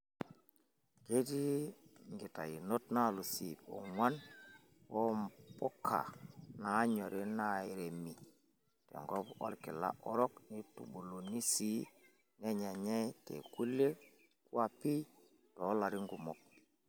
Ketii nkitayunot naalus iip ong'uan oo mpuka naanyori nairemi tenkop orkila orok neitubuluni sii nenyenyay tekulie kwapi toolarin kumok.